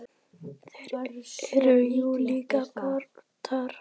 Þeir eru jú líka kratar.